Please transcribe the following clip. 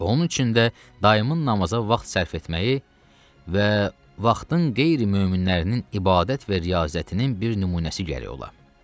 Onun üçün də dayımın namaza vaxt sərf etməyi və vaxtın qeyri möminlərinin ibadət və riyazətinin bir nümunəsi gərək ola.